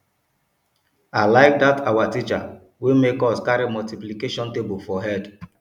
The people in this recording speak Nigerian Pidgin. i like dat our teacher wey make us carry multiplication table for head